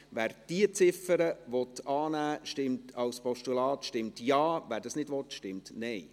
Wer diese Ziffer als Postulat annehmen will, stimmt Ja, wer dies nicht will, stimmt Nein.